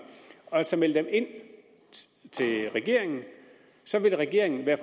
og meld dem ind til regeringen så vil regeringen være